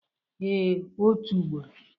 Ee, otu ugboro.